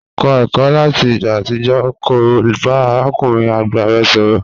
Kọ ẹkọ lati igba atijọ ki o ba arakunrin agba rẹ sọrọ.